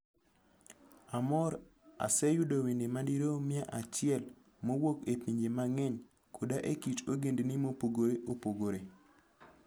Armor oseyudo wende madirom mia achiel mowuok e pinje mang'eny koda e kit ogendini mopogore opogore.